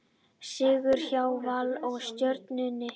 Sigur hjá Val og Stjörnunni